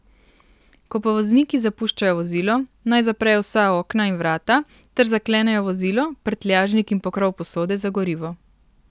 Ko pa vozniki zapuščajo vozilo, naj zaprejo vsa okna in vrata ter zaklenejo vozilo, prtljažnik in pokrov posode za gorivo.